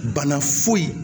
Bana foyi